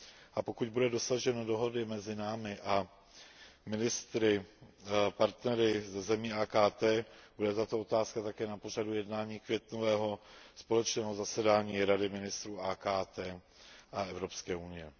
A pokud bude dosaženo dohody mezi námi a ministry partnery ze zemí AKT, bude tato otázka také na pořadu jednání květnového společného zasedání Rady ministrů AKT a Evropské unie.